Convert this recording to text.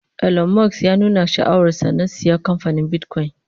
Elon Musk ya nuna sha'awar sa na saya kamfanin bitcoin